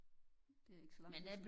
Det er ikke så lang tid siden